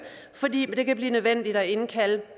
fordi det kan blive nødvendigt at indkalde